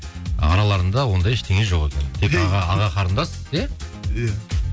ы араларында ондай ештеңе жоқ екен тек аға қарындас иә иә